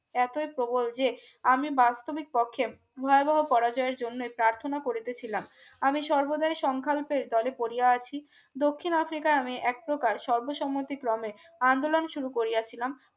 এতই প্রবল যে আমি বাস্তবিক কক্ষে ভয়াবহ পরাজয়ের জন্য প্রথনা করিতে ছিলাম আমি সর্বদাই সংখ্যালপের দলে পড়িয়া আছি দক্ষিণ আফ্রিকা নামে এক প্রকার সরবে সমতি গ্রামে আন্দোলন শুরু করিয়াছিলাম